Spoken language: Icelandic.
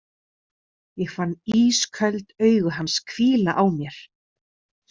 Ég fann ísköld augu hans hvíla á mér.